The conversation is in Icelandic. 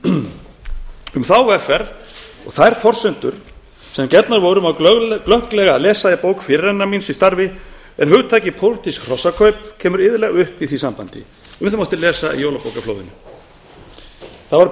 um þá vegferð og þær forsendur sem gefnar voru má glögglega lesa í bók fyrirrennara míns í starfi en hugtakið pólitísk hrossakaup kemur iðulega upp í því sambandi um það mátti lesa í jólabókaflóðinu það var